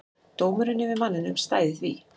Dómurinn yfir manninum stæði því.